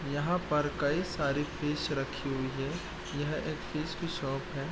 यहां पर कई सारे फिश रखी हुई है यह एक फिश की शॉप है।